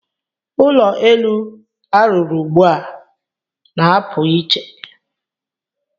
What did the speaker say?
Ụlọ elu a rụrụ ugbu a na-apụ iche.